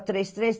três três